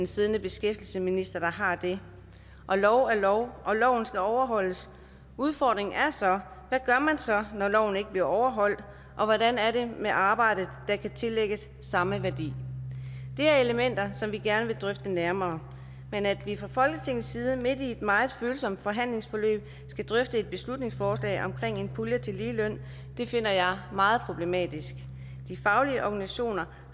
siddende beskæftigelsesminister der har det lov er lov og loven skal overholdes udfordringen er så gør når loven ikke bliver overholdt og hvordan er det med arbejde der kan tillægges samme værdi det er elementer som vi gerne vil drøfte nærmere men at vi fra folketingets side midt i et meget følsomt forhandlingsforløb skal drøfte et beslutningsforslag om en pulje til ligeløn finder jeg meget problematisk de faglige organisationer